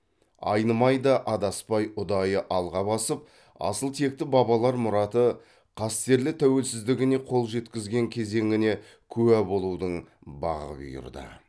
айнымай да адаспай ұдайы алға басып асыл текті бабалар мұраты қастерлі тәуелсіздігіне қол жеткізген кезеңіне куә болудың бағы бұйырды